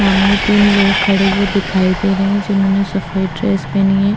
सामने तीन लोग खड़े हुए दिखाई दे रहे हैं जिन्होंने सफ़ेद ड्रेस पहनी है।